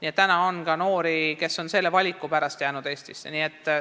Ka praegu on noori, kes on selle valiku pärast Eestisse jäänud.